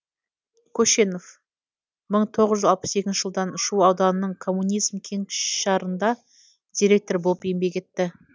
көшенов мың тоғыз жүз алпыс екінші жылдан шу ауданының коммунизм кеңшарында директор болып еңбек етті